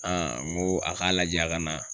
n ko a k'a lajɛ ka na.